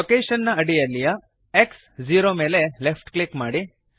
location ನ ಅಡಿಯಲ್ಲಿಯ X160 0 ಮೇಲೆ ಲೆಫ್ಟ್ ಕ್ಲಿಕ್ ಮಾಡಿರಿ